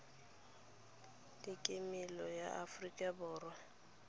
le kemedi ya aforika borwa